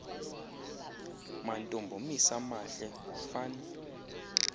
mampondomis amahle fan